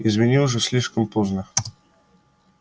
извини уже слишком поздно